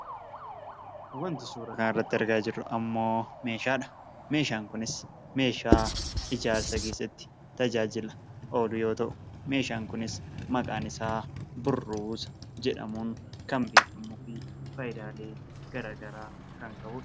Wanti suura kana irratti argaa jirru meeshaadha. Meeshaan kunis ijaarsa keessatti tajaajila oolu yoo ta'u meeshaan kunis maqaan isaa burruusa jedhamuun kan beekamuu fi faayidaalee gara garaa kan qabudha.